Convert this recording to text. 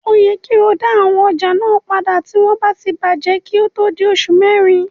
O yẹ kí o dá àwọn ọjà náà padà tí wọ́n bá ti bàjẹ́ kí ó tó di oṣù mẹrin.